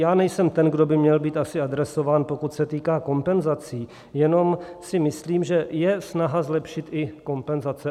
Já nejsem ten, kdo by měl být asi adresován, pokud se týká kompenzací, jenom si myslím, že je snaha zlepšit i kompenzace.